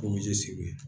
Koje segu